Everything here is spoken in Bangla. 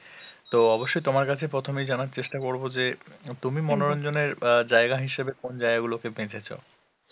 তো অবশ্যই তোমার কাছে প্রথমেই জানার চেষ্টা করবো যে তুমি মনোরঞ্জনের অ্যাঁ জায়গা হিসেবে কোন জায়গাগুলোকে বেচেছো?